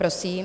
Prosím.